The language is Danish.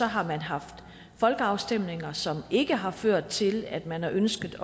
har man haft folkeafstemninger som ikke har ført til at man har ønsket